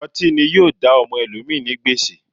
Ọti ni yoo da ọmọ ẹlomi ni gbèsè